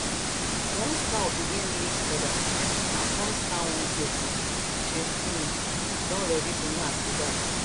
once cow begin lick others and come stand one place she um don ready to knack be that